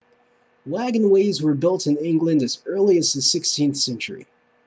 wagonways were built in england as early as the 16th century